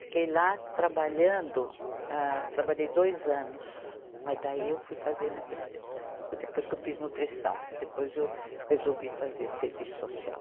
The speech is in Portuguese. Fiquei lá trabalhando, âh, trabalhei dois anos, mas daí eu fui fazer nutri, depois que eu fiz nutrição, depois eu resolvi fazer serviço social.